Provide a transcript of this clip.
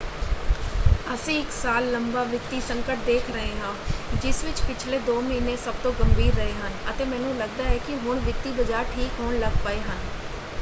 ਅਸੀਂ ਇੱਕ ਸਾਲ ਲੰਬਾ ਵਿੱਤੀ ਸੰਕਟ ਦੇਖ ਰਹੇ ਹਾਂ ਜਿਸ ਵਿੱਚ ਪਿਛਲੇ ਦੋ ਮਹੀਨੇ ਸਭ ਤੋਂ ਗੰਭੀਰ ਰਹੇ ਹਨ ਅਤੇ ਮੈਨੂੰ ਲੱਗਦਾ ਹੈ ਕਿ ਹੁਣ ਵਿੱਤੀ ਬਾਜ਼ਾਰ ਠੀਕ ਹੋਣ ਲੱਗ ਪਏ ਹਨ।